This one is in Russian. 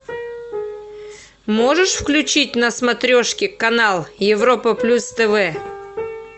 можешь включить на смотрешке канал европа плюс тв